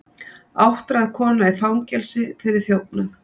Áttræð kona í fangelsi fyrir þjófnað